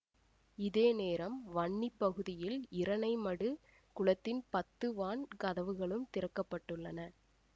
இதேநேரம் வன்னி பகுதியில் இரணைமடு குளத்தின் பத்து வான் கதவுகளும் திறக்க பட்டுள்ளன